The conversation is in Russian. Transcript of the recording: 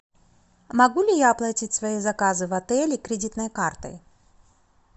могу ли я оплатить свои заказы в отеле кредитной картой